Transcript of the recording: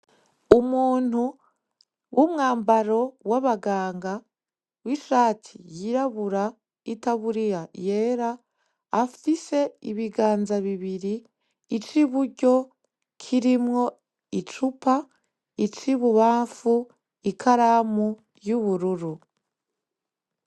Umuntu w'umwambaro w'abaganga ,wishati y'irabura itaburiya yera. Afise ibiganza bibiri ,ic'iburyo kirimwo ,icupa ici'ibubanfu ikaramu y'ubururu.